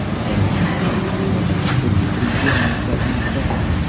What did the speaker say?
Doimiy tutun ham bolakayga jiddiy ziyon yetkazmoqda.